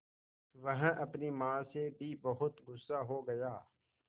वह अपनी माँ से भी बहुत गु़स्सा हो गया